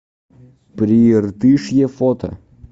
прииртышье фото